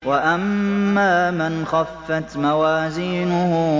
وَأَمَّا مَنْ خَفَّتْ مَوَازِينُهُ